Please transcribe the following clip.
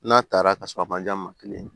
N'a taara ka sɔrɔ a man jan maa kelen